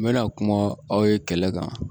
N bɛna kuma aw ye kɛlɛ kan